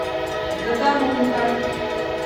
загорулько